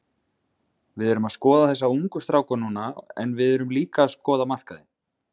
Við erum að skoða þessa ungu stráka núna en við erum líka að skoða markaðinn.